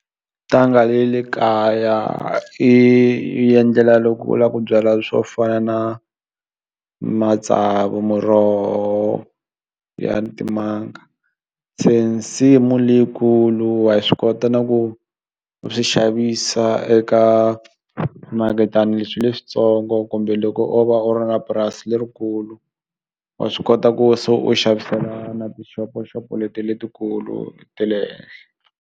Ntanga ye le kaya i endlela loko u la ku byala swo fana na matsavu muroho ya timanga se nsimu leyikulu wa swi kota na ku u swi xavisa eka swimaketana leswi leswitsongo kumbe loko o va u ri na purasi lerikulu wa swi kota ku se u xavisela na tishoposhopo leti letikulu te le henhla.